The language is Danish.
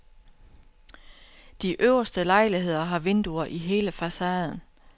De øverste lejligheder har vinduer i hele facaden.